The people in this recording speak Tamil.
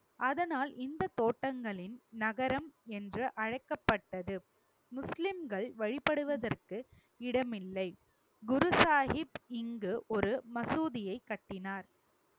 அதனால் இந்து தோட்டங்களின் நகரம் என்று அழைக்கப்பட்டது முஸ்லிம்கள் வழிபடுவதற்கு இடமில்லை குரு சாஹிப் இங்கு ஒரு மசூதியை கட்டினார்.